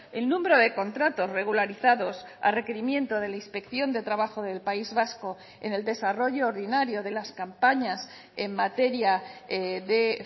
el número de contratos regularizados a requerimiento de la inspección de trabajo del país vasco en el desarrollo ordinario de las campañas en materia de